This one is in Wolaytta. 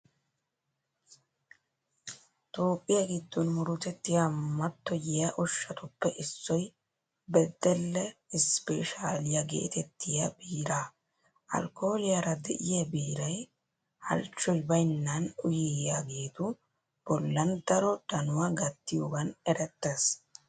Toophphiya giddon murutettiya mattoyiya ushshatuppe issoy beddelle isppeeshaaliya geetettiya biiraa. Alkkooliyara de'iya biiray halchchoy baynnan uyiyageetu bollan daro danuwa gattiyogan erettees.